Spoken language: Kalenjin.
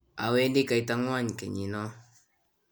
awendi kaitangwany kenyit no